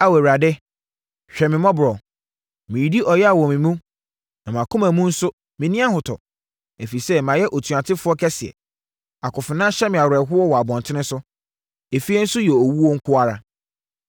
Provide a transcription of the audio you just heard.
“Ao Awurade, hwɛ me mmɔborɔ! Meredi ɛyea wɔ me mu, na mʼakoma mu nso menni ahotɔ, ɛfiri sɛ mayɛ otuatefoɔ kɛseɛ. Akofena hyɛ me awerɛhoɔ wɔ abɔntene so; efie nso yɛ owuo nko ara.